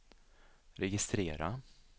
registrera